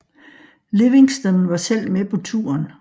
Livingston var selv med på turen